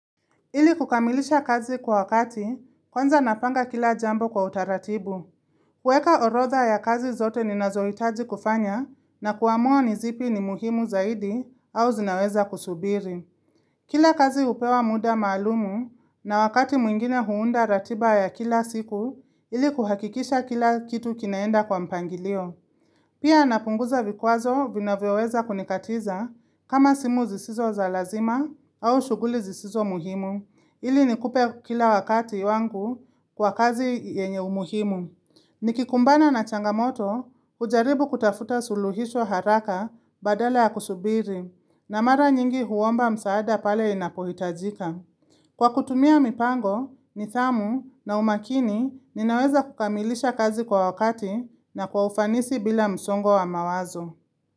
Ili kukamilisha kazi kwa wakati, kwanza napanga kila jambo kwa utaratibu. Kueka orotha ya kazi zote ni nazoitaji kufanya na kuamua nizipi ni muhimu zaidi au zinaweza kusubiri. Kila kazi upewa muda maalumu na wakati mwingine huunda ratiba ya kila siku, ili kuhakikisha kila kitu kinaenda kwa mpangilio. Pia napunguza vikuazo vinaweweza kunikatiza kama simu zisizo za lazima au shuguli zisizo muhimu ili nikupe kila wakati wangu kwa kazi yenye umuhimu. Nikikumbana na changamoto ujaribu kutafuta suluhisho haraka badala ya kusubiri na mara nyingi huomba msaada pale inapohitajika. Kwa kutumia mipango, nithamu na umakini, ninaweza kukamilisha kazi kwa wakati na kwa ufanisi bila msongo wa mawazo.